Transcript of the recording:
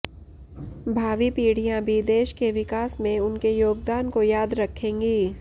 भावी पीढ़ियां भी देश के विकास में उनके योगदान को याद रखेंगी